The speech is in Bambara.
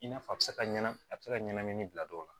I n'a fɔ a bi se ka ɲanam a be se ka ɲanamini bila dɔw la